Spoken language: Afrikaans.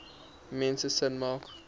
mense sin maak